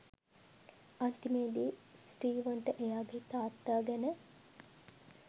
අන්තිමේදී ස්ටීවන්ට එයාගේ තාත්තා ගැන